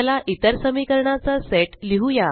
चला इतर समीकरणाचा सेट लिहुया